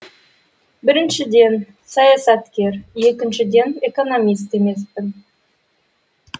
біріншіден саясаткер екіншіден экономист емеспін